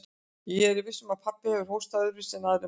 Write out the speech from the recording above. Nei, ég er viss um að pabbi hefur hóstað öðruvísi en aðrir menn.